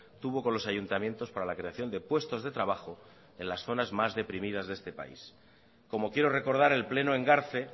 tuvo con los ayuntamientos para la creación de puestos de trabajo en las zonas más deprimidas de este país como quiero recordar el pleno engarce